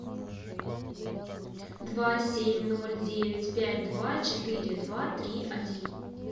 два семь ноль девять пять два четыре два три один